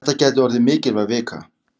Þetta gæti orðið mikilvæg vika.